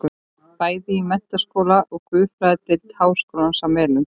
Bæði í menntaskóla og guðfræðideild háskólans á Melunum.